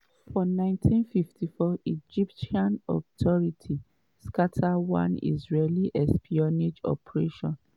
for 1954 egyptian authorities scata one israeli espionage operation